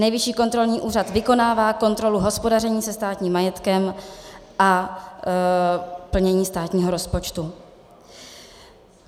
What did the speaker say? Nejvyšší kontrolní úřad vykonává kontrolu hospodaření se státním majetkem a plnění státního rozpočtu.